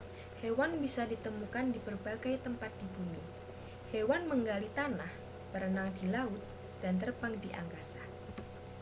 hewan bisa ditemukan di berbagai tempat di bumi hewan menggali tanah berenang di laut dan terbang di angkasa